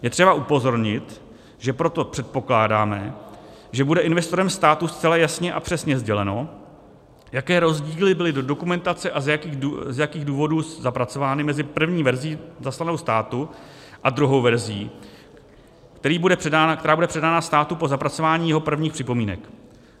Je třeba upozornit, že proto předpokládáme, že bude investorem státu zcela jasně a přesně sděleno, jaké rozdíly byly do dokumentace a z jakých důvodů zapracovány mezi první verzí zaslanou státu a druhou verzí, která bude předána státu po zapracování jeho prvních připomínek.